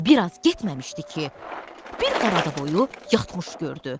Və bir az getməmişdi ki, bir Qaradavoyu yatmış gördü.